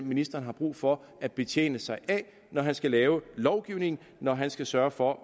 ministeren har brug for at betjene sig af når han skal lave lovgivning når han skal sørge for